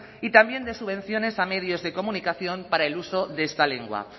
y también de subvenciones a medios de comunicación para el uso de esta lengua